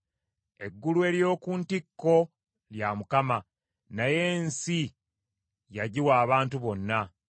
Eggulu ery’oku ntikko lya Mukama , naye ensi yagiwa abantu bonna.